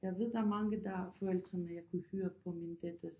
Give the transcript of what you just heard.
Jeg ved at der er mange der forældrene jeg kunne høre på min datters